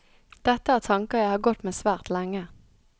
Dette er tanker jeg har gått med svært lenge.